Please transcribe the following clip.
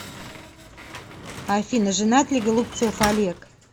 афина женат ли голубцов олег